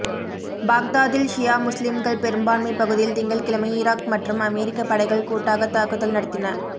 பாக்தாதில் ஷியா முஸ்லிம்கள் பெரும்பான்மைப் பகுதியில் திங்கள்கிழமை இராக் மற்றும் அமெரிக்கப் படைகள் கூட்டாகத் தாக்குதல் நடத்தின